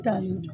Taali